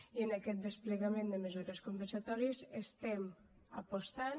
i en aquest desplegament de mesures compensatòries estem apostant